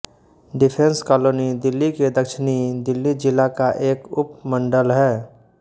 defence Colony Delhi के दक्षिणी दिल्ली जिला का एक उप मंडल है